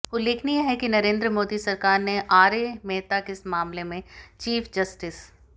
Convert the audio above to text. उल्लेखनीय है कि नरेंद्र मोदी सरकार ने आरए मेहता के मामले में चीफ जस्टिस